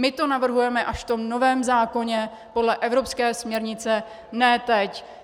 My to navrhujeme až v tom novém zákoně podle evropské směrnice, ne teď.